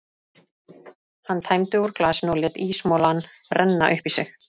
Hann tæmdi úr glasinu og lét ísmolann renna upp í sig.